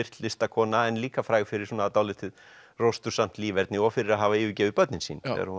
listakona en líka fræg fyrir dálítið líferni og fyrir að hafa yfirgefið börnin sín